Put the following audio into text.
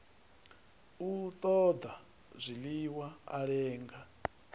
u ṱoḓa zwiḽiwa a lenga